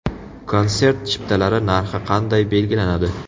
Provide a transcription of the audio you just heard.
Konsert chiptalari narxi qanday belgilanadi?